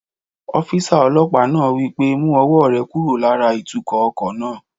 Ọ́físà ọlọ́pàá náà wí pé "mú ọwọ́ rẹ kúrò lára ìtukọ̀ ọkọ̀ náà!"